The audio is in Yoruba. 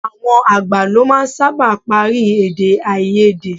Àwọn àgbà lọ máa ń sábà parí èdèáiyedé.